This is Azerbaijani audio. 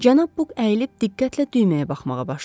Cənab Book əyilib diqqətlə düyməyə baxmağa başladı.